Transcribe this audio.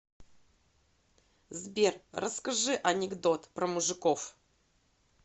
сбер расскажи анекдот про мужиков